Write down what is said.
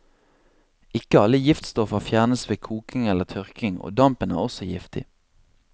Ikke alle giftstoffer fjernes ved koking eller tørking, og dampen er også giftig.